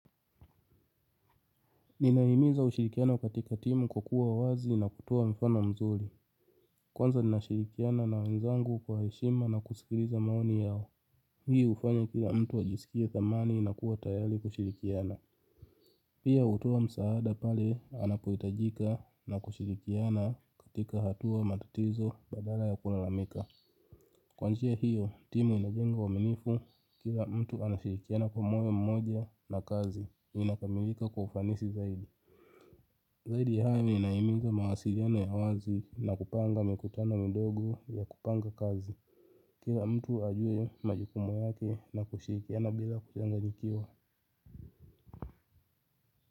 Ninaimiza ushirikiano katika timu kwa kuwa wazi na kutoa mfano mzuri. Kwanza nina shirikiana na wenzangu kwa heshima nakusikiriza maoni yao. Hii ufanya kila mtu ajisikie thamani na kuwa tayali kushirikiana. Pia, utuwa msaada pale anapohitajika na kushirikiana katika hatua, matatizo badala ya kulalamika. Kwa njia hiyo, timu inajenga uaminifu, kila mtu anashirikiana kwa moyo mmoja na kazi. Inakamilika kwa ufanisi zaidi. Zaidi ya hayo, inaimiza mawasiliano ya wazi na kupanga mikutano midogo ya kupanga kazi. Ila mtu ajue, majukumu yake na kushirikiana bila kuchanganyikiwa.